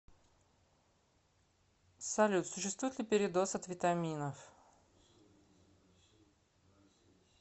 салют существует ли передоз от витаминов